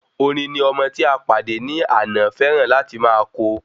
Orin ni ọmọ tí a pàdé ní àná fẹràn láti má ko